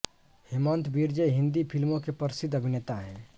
हेमंत बिर्जे हिंदी फिल्मो के प्रसिद्द अभिनेता हैं